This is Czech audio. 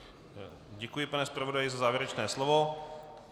Děkuji, pane zpravodaji, za závěrečné slovo.